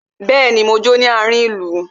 Bẹẹni, mo jó ní àárin ìlú.